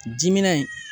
Dimina in